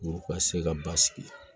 U ka se ka ba sigi